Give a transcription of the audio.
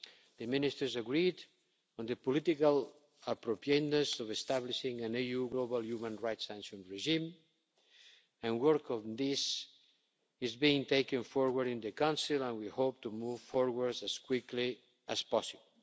The ministers agreed on the political appropriateness of establishing an EU global human rights sanction regime, and work on this is being taken forward in the Council and we hope to move forward as quickly as possible.